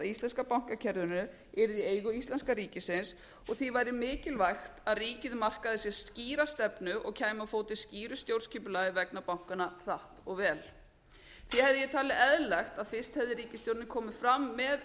íslenska bankakerfinu yrði í eigu íslenska ríkisins og því væri mikilvægt að ríkið markaði sér skýra stefnu og kæmi á fót skýru stjórnskipulagi vegna bankanna hratt og vel því hefði ég talið eðlilegt að fyrst hefði ríkisstjórnin komið fram með